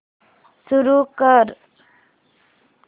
सुरू कर